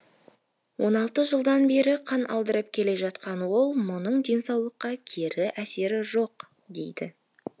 жылдан бері қан алдырып келе жатқан ол мұның денсаулыққа кері әсері жоқ дейді